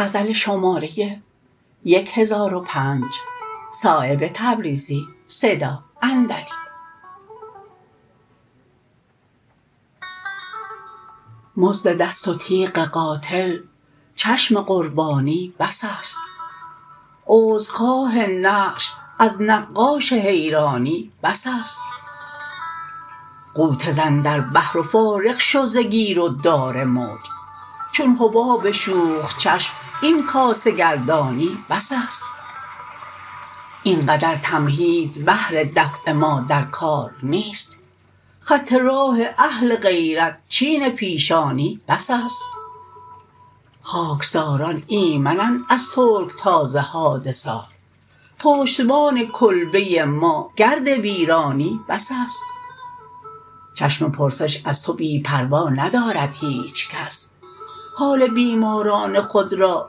مزد دست و تیغ قاتل چشم قربانی بس است عذرخواه نقش از نقاش حیرانی بس است غوطه زن در بحر و فارغ شو ز گیر و دار موج چون حباب شوخ چشم این کاسه گردانی بس است اینقدر تمهید بهر دفع ما در کار نیست خط راه اهل غیرت چین پیشانی بس است خاکساران ایمنند از ترکتاز حادثات پشتبان کلبه ما گرد ویرانی بس است چشم پرسش از تو بی پروا ندارد هیچ کس حال بیماران خود را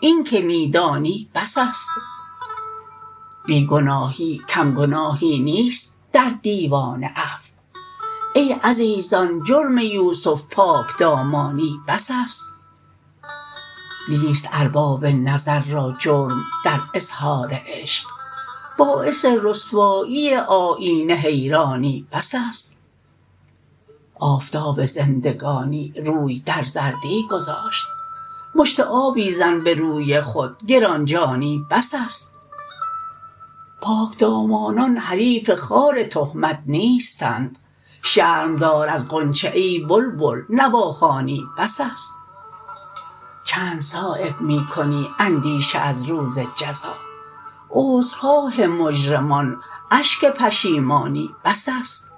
این که می دانی بس است بی گناهی کم گناهی نیست در دیوان عفو ای عزیزان جرم یوسف پاکدامانی بس است نیست ارباب نظر را جرم در اظهار عشق باعث رسوایی آیینه حیرانی بس است آفتاب زندگانی روی در زردی گذاشت مشت آبی زن به روی خود گرانجانی بس است پاکدامانان حریف خار تهمت نیستند شرم دار از غنچه ای بلبل نواخوانی بس است چند صایب می کنی اندیشه از روز جزا عذرخواه مجرمان اشک پشیمانی بس است